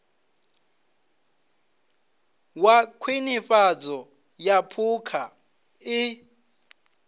wa khwinifhadzo ya phukha i